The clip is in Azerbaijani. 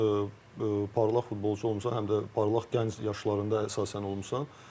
Sən özün parlaq futbolçu olmusan, həm də parlaq gənc yaşlarında əsasən olmusan.